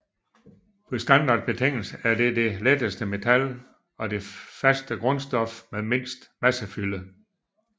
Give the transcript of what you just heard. Ved standardbetingelser er det det letteste metal og det faste grundstof med mindst massefylde